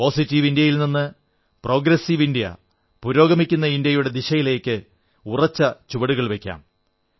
positive ഇന്ത്യയിൽ നിന്ന് progressive India പുരോഗമിക്കുന്ന ഇന്ത്യയുടെ ദിശയിലേക്ക് ഉറച്ച ചുവടുകൾ വയ്ക്കാം